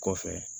Kɔfɛ